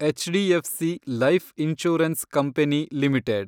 HDFC life insurance company limited